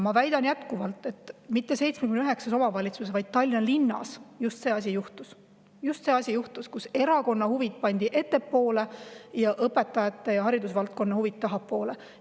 Ma väidan jätkuvalt, et mitte 79 omavalitsuses, vaid just Tallinna linnas juhtus see, kus erakonna huvid pandi ettepoole ja õpetajate ja haridusvaldkonna huvid tahapoole.